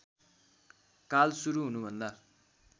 काल सुरु हुनुभन्दा